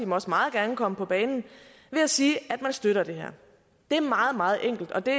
må også meget gerne komme på banen ved at sige at man støtter det her det er meget meget enkelt og det